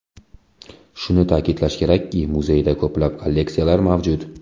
Shuni ta’kidlash kerakki, muzeyda ko‘plab kolleksiyalar mavjud.